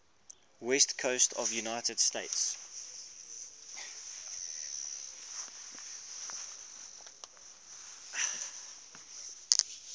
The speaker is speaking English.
west coast of the united states